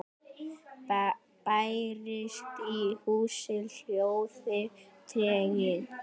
Bærist í húsi hljóður tregi.